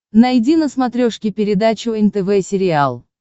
найди на смотрешке передачу нтв сериал